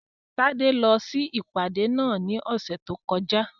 Tádé lọ sí ìpàdé náà ní ọ̀sẹ̀ tó kọjá